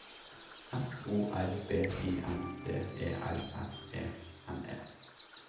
F O R B I N D E L S E N E